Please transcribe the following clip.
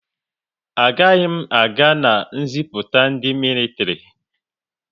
A gaghị m aga na ziputa ndị militiri